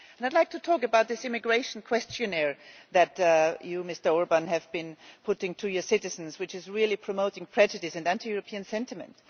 I would like to talk about this immigration questionnaire which you, Mr Orbán, have been putting to your citizens and which is really promoting prejudice and anti European sentiment.